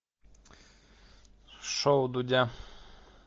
шоу дудя